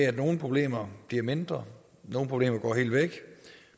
at nogle problemer bliver mindre og nogle problemer går helt væk